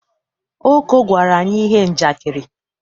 Oko gwara anyi ihe njakịrị.